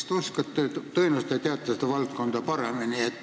Tõenäoliselt te teate seda valdkonda paremini.